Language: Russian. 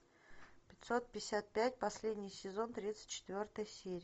пятьсот пятьдесят пять последний сезон тридцать четвертая серия